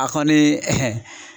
A kɔni